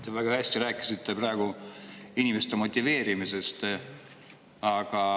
Te väga hästi rääkisite praegu inimeste motiveerimisest.